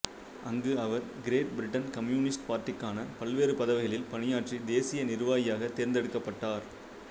அங்கு அவர் Great Britain communist பார்ட்டிக்கான பல்வேறு பதவிகளில் பணியாற்றி தேசிய நிர்வாகியாக தேர்ந்து எடுக்கப்பட்டார்